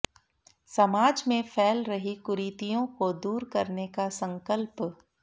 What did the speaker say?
समाज में फैल रही कुरीतियों को दूर करने का संकल्प